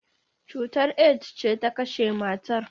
Cutar AIDS ce ta kashe matar.